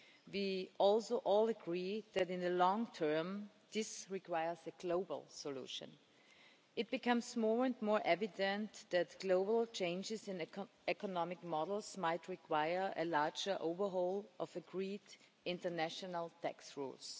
We also all agreed that, in the long term, this requires a global solution. It becomes more and more evident that global changes in economic models might require a larger overhaul of agreed international tax rules.